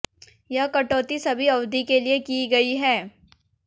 यह कटौती सभी अवधि के लिए की गई है